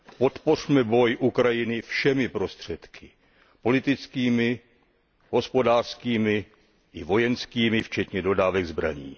Podpořme boj Ukrajiny všemi prostředky, politickými, hospodářskými i vojenskými, včetně dodávek zbraní.